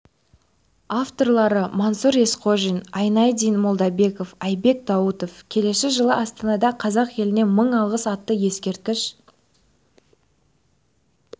авторлары мансұр есқожин айнадин молдабеков айбек даутов келесі жылы астанада қазақ еліне мың алғыс атты ескерткіш